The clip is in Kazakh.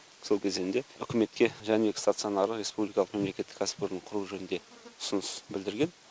сол кезенде үкіметке жәнібек стационары республикалық мемлекеттік кәсіпорын құру жөнінде ұсыныс білдірген